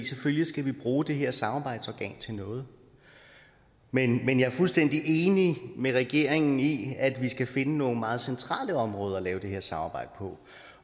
selvfølgelig skal vi bruge det her samarbejdsorgan til noget men jeg er fuldstændig enig med regeringen i at vi skal finde nogle meget centrale områder at lave det her samarbejde på